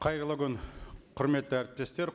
қайырлы күн құрметті әріптестер